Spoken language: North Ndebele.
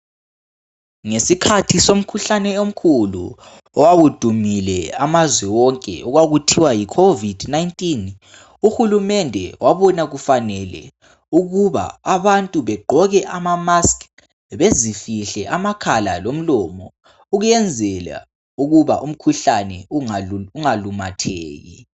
Ngesikhathi somkhuhlane omkhulu owawudumile amazwe onke okwakuthiwa yi covid 19 uhulumende wabona kufanele ukuba abantu beqgoke ama mask bezifihle amakhala lomlomo ukwenzela ukuba umkhuhlane ungalumatheli